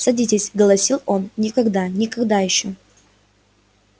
садитесь голосил он никогда никогда ещё